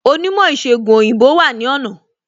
Onímò ìsègùn òyìnbó wà ní ọ̀nà